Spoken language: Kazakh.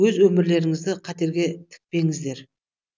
өз өмірлеріңізді қатерге тікпеңіздер